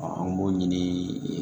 an b'o ɲini